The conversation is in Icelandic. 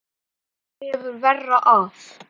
Eða þú hefur verra af